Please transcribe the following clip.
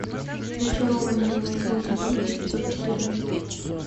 зачарованные восьмой сезон эпизод четырнадцать